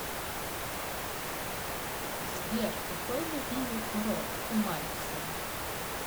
сбер какой любимый курорт у мальцева